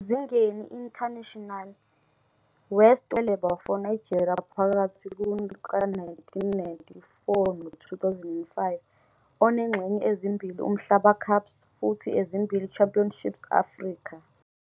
Ezingeni international, West wenza 42 ofeleba for Nigeria phakathi kuka-1994 no-2005,onengxenye ezimbili Umhlaba Cups futhi ezimbili Championships Afrika.